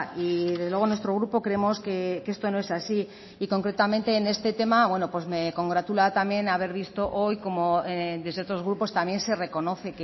y desde luego nuestro grupo creemos que esto no es así y concretamente en este tema me congratula también haber visto hoy como desde otros grupos también se reconoce